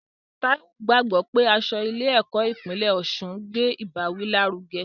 Taiwo gbàgbọ́ pé aṣọ ilé ẹ̀kọ́ ìpínlẹ̀ Osun ń gbé ìbáwí lárugẹ.